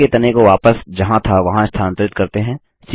पेड़ के तने को वापस जहाँ था वहाँ स्थानांतरित करते हैं